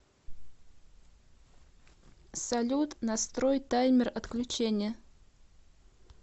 салют настрой таймер отключения